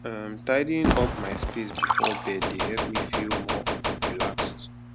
um tidying up my space before bed dey help me feel more um relaxed